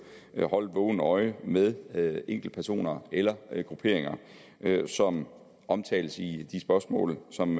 at holde et vågent øje med med enkeltpersoner eller grupperinger som omtales i de spørgsmål som